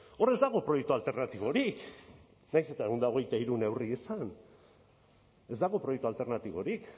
hor ez dago proiektu alternatiborik nahiz eta ehun eta hogeita hiru neurri izan ez dago proiektu alternatiborik